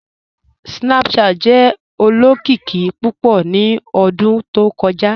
Snapchat jẹ olokiki pupọ̀ ni ọ̀dún tó kọja."